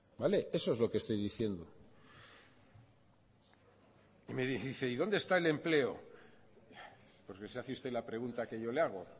vale eso es lo que estoy diciendo y me dice y dónde está el empleo porque se hace usted la pregunta que yo le hago